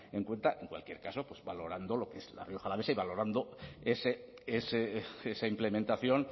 en cuenta en cualquier caso valorando lo que es la rioja alavesa y valorando esa implementación